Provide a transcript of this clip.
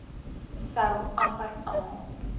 sou amper almal